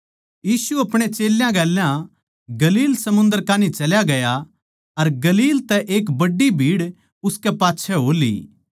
यीशु आपणे चेल्यां गेल्या गलील समुन्दर कान्ही चल्या गया अर गलील तै एक बड्डी भीड़ उसकै पाच्छै हो ली